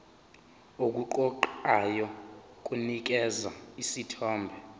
okuqoqayo kunikeza isithombe